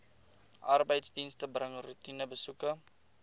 arbeidsdienste bring roetinebesoeke